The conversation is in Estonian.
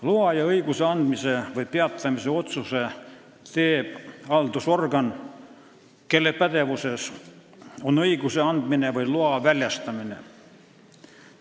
Loa ja õiguse andmise või peatamise otsuse teeb haldusorgan, kelle pädevuses on õiguse andmine või loa väljastamine.